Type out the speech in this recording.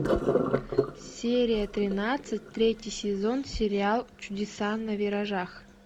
серия тринадцать третий сезон сериал чудеса на виражах